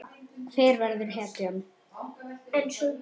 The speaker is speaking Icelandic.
Hver verður hetjan?